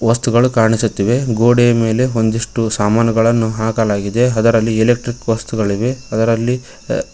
ವಸ್ತುಗಳು ಕಾಣಿಸುತ್ತಿವೆ ಗೋಡೆಯ ಮೇಲೆ ಒಂದಿಷ್ಟು ಸಾಮಾನುಗಳನ್ನು ಹಾಕಲಾಗಿದೆ ಅದರಲ್ಲಿ ಎಲೆಕ್ಟ್ರಿಕ್ ವಸ್ತುಗಳಿವೆ ಅದರಲ್ಲಿ--